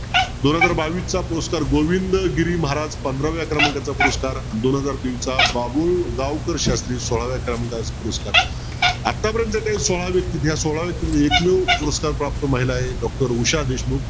दोन हजार बावीस चा पुरस्कार गोविंदगिरी महाराज पंधराव्या क्रमांकाचा पुरस्कार दोन हजार तेवीसचा बाबू गावकर शास्त्री सोळाव्या क्रमांकाचा पुरस्कार आत्ता पर्यंत काय सोळा व्यक्ती या सोळा व्यक्तीतील एकमेव पुरस्कार प्राप्त महिला आहे doctor उषा देशमुख